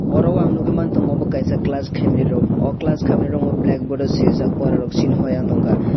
oro o ang nukgwi man tongo obo kaisa class khaimani room oh class khaimani room o blackboard o swijak pora sinihoya ong tongkha.